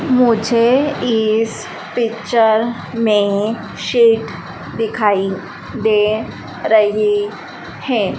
मुझे इस पिक्चर मे सीट दिखाई दे रही है।